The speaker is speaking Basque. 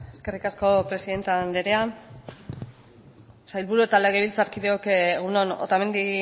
eskerrik asko presidente anderea sailburuok eta legebiltzarkideok egun on otamendi